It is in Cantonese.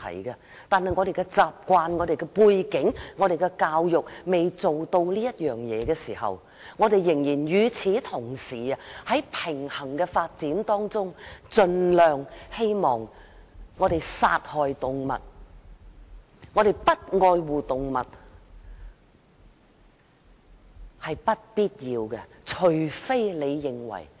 由於習慣、背景和教育，我們未能完全吃素，但與此同時，我們應尋求平衡發展，應盡量避免作出殺害動物和不愛護動物的行為。